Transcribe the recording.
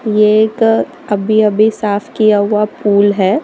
ये एक अभी अभी साफ किया हुआ पूल है।